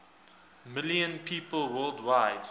million people worldwide